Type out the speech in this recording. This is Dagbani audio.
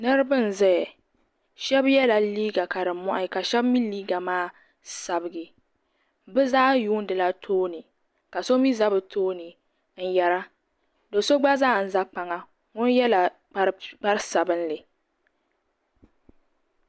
Niriba n ʒɛya sheba yela liiga ka di mohi ka sheba mee liiga maa sabigi bɛ zaa yuunila tooni ka so mee za bɛ tooni n yera do'so gba zaa n za kpaŋa ŋun yela kpari sabinli.